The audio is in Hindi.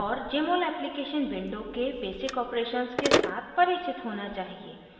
और jmol application window के basic operations के साथ परिचित होना चाहिए